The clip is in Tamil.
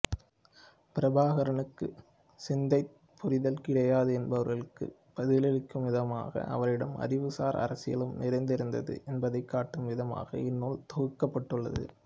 பிரபாகரனுக்குச் சித்தாந்தப் புரிதல் கிடையாது என்பவர்களுக்கு பதிலளிக்கும்விதமாக அவரிடம் அறிவுசார் அரசியலும் நிறைந்திருந்தது என்பதைகாட்டும்விதமாக இந்நூல் தொகுக்கப்பட்டுள்ளது